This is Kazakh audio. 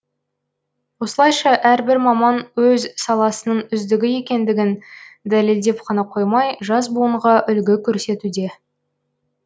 осылайша әрбір маман өз саласының үздігі екендігін дәлелдеп қана қоймай жас буынға үлгі көрсетуде